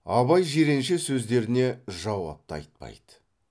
абай жиренше сөздеріне жауап та айтпайды